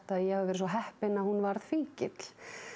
að ég hafi verið svo heppin að hún varð fíkill